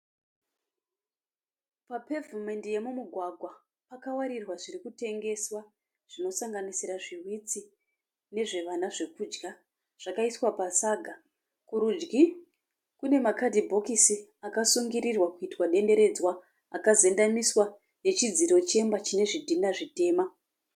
Papavhumendi yemumugwagwa pakawatidzwa zviri kutengeswa zvinosanganisira zvihwitsi nezvevana zvekudya, zvakaiswa pasaga. Kurudyi kune makadhibhokisi akasungirirwa kuitwa denderedzwa, akazendamiswa nechidziro chemba chine zvidhinha zvitema.